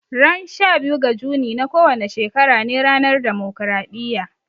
Ran sha biyu ga Juni na kowane shekara ne ranar demokaraɗiya